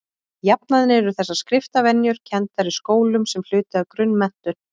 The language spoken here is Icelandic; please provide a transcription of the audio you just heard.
jafnan eru þessar skriftarvenjur kenndar í skólum sem hluti af grunnmenntun